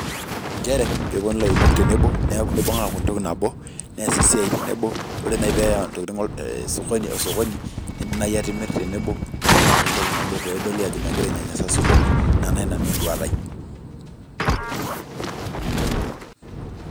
nchere eponu lairemok aaku entoki nabo ore nai peya ntokitin osokoni nibung neaku entoki nabo pedoli ajo megira ainyanyasa osokoni ina nai enduata aai.